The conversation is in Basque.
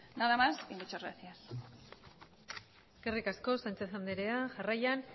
nada más y muchas gracias eskerrik asko sánchez andrea jarraian